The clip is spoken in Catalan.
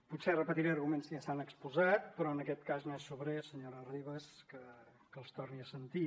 potser repetiré arguments que ja s’han exposat però en aquest cas no és sobrer senyora ribas que els torni a sentir